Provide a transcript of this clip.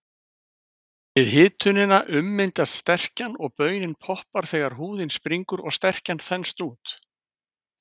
Við hitunina ummyndast sterkjan og baunin poppar þegar húðin springur og sterkjan þenst út.